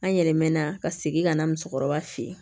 An yɛlɛnna ka segin ka na musokɔrɔba fe yen